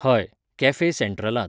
हय, कॅफे सँट्रलांत